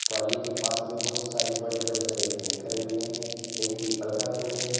Trolley के पास में बहुत सारे बड़े बड़े हरे पेड़ खड़े हुए हैं एक पीपल का पेड़ है।